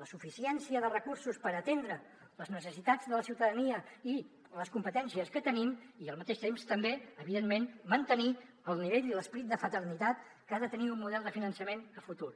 la suficiència de recursos per atendre les necessitats de la ciutadania i les competències que tenim i al mateix temps també evidentment mantenir el nivell i l’esperit de fraternitat que ha de tenir un model de finançament a futur